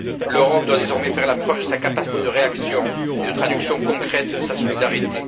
L'Europe doit désormais faire la preuve de sa capacité de réaction et de traduction concrète de sa solidarité.